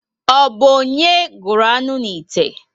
O bu onye gụrụ aṅụ 'ite?